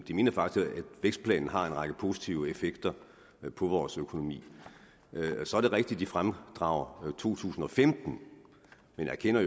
de mener faktisk at vækstplanen har en række positive effekter på vores økonomi så er det rigtigt at de fremdrager to tusind og femten men jo erkender